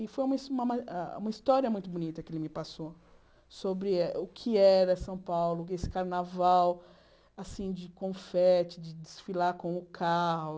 E foi uma ma ah uma história muito bonita que ele me passou sobre o que era São Paulo, esse carnaval assim de confete, de desfilar com o carro.